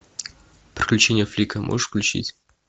приключения флика можешь включить